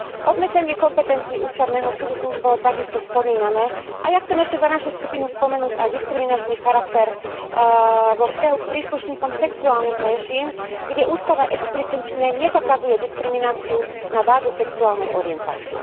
Obmedzenie kompetencií ústavného súdu tu už bolo takisto spomínané a ja chcem ešte za našu skupinu spomenúť aj diskriminačný charakter vo vzťahu k príslušníkom sexuálnych menšín, kde ústava explicitne nezakazuje diskrimináciu na báze sexuálnej orientácie.